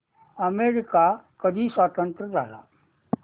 America कधी स्वतंत्र झाला